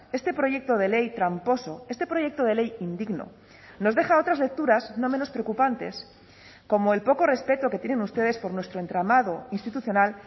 este proyecto de ley tramposo este proyecto de ley indigno nos deja otras lecturas no menos preocupantes como el poco respeto que tienen ustedes por nuestro entramado institucional